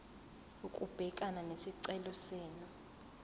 ukubhekana nesicelo senu